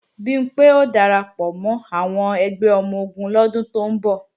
Bimpé ó darapọ̀ mọ́ àwọn ẹgbẹ́ ọmọ-ogun lọ́dún tó ń bọ̀